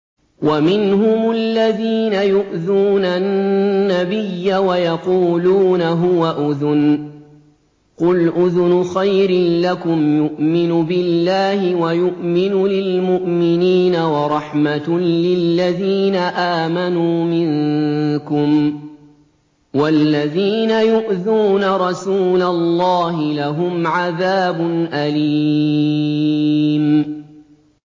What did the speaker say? وَمِنْهُمُ الَّذِينَ يُؤْذُونَ النَّبِيَّ وَيَقُولُونَ هُوَ أُذُنٌ ۚ قُلْ أُذُنُ خَيْرٍ لَّكُمْ يُؤْمِنُ بِاللَّهِ وَيُؤْمِنُ لِلْمُؤْمِنِينَ وَرَحْمَةٌ لِّلَّذِينَ آمَنُوا مِنكُمْ ۚ وَالَّذِينَ يُؤْذُونَ رَسُولَ اللَّهِ لَهُمْ عَذَابٌ أَلِيمٌ